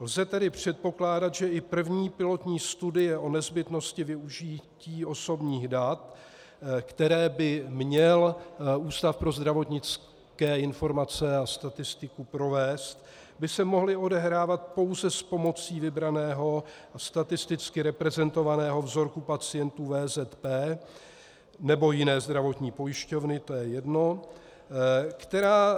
Lze tedy předpokládat, že i první pilotní studie o nezbytnosti využití osobních dat, které by měl Ústav pro zdravotnické informace a statistiku provést, by se mohly odehrávat pouze s pomocí vybraného statisticky reprezentovaného vzorku pacientů VZP, nebo jiné zdravotní pojišťovny, to je jedno, která